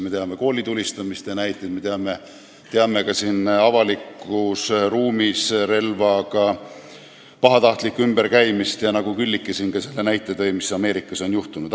Me teame koolitulistamiste näiteid, me teame, et avalikus ruumis on relvaga pahatahtlikult ümber käidud, ka Külliki tõi näite selle kohta, mis Ameerikas on juhtunud.